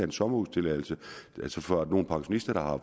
en sommerhustilladelse fra nogle pensionister der har